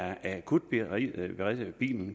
er akutbilen